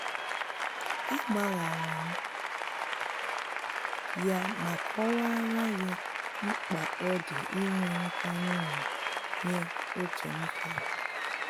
A gbaharam ya ma kọwara ye mkpa odi inwe nkwanye ugwu ye ókè m kwara